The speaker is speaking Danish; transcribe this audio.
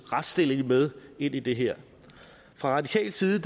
retsstilling med ind i det her fra radikal side